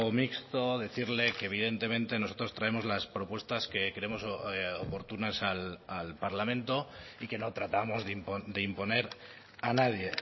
mixto decirle que evidentemente nosotros traemos las propuestas que creemos oportunas al parlamento y que no tratamos de imponer a nadie